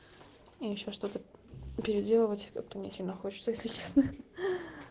я ещё что-то переделывать как-то не очень хочется если честно